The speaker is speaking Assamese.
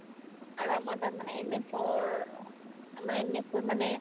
আৰু আমাৰ তাত মানে MS ৰ মানে MS ৰ মানে